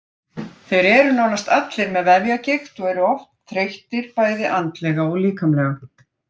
Þeir eru nánast allir með vefjagigt og eru oft þreyttir bæði andlega og líkamlega.